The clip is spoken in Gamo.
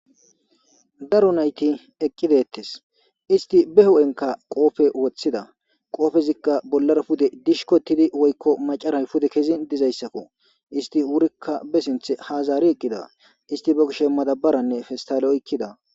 Daru nayti eqqidettes isti be hu'enka qoofe woththida qoofezikka bollara pude dishko tidi woykko macaray pude kezin dizayssakko isti wurikka be sinthe haazaari eqqida isti bo kishe madabaranne festale ikkida